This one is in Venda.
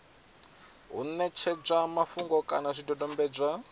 u ṋetshedzwa mafhungo kana zwidodombedzwa